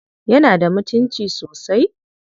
Yana da mutunci sosai?